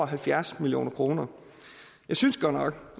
halvfjerds million kroner jeg synes godt nok